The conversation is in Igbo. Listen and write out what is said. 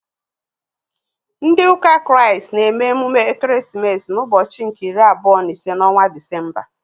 Ndị ụka Kraịst na-eme emume ekeresimesi n'ụbọchị nke iri abụọ na ise n'ọnwa Disemba.